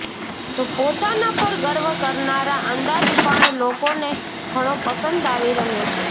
તો પોતાના પર ગર્વ કરનારા અંદાજ પણ લોકોને ઘણો પસંદ આવી રહ્યો છે